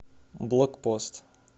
блокпост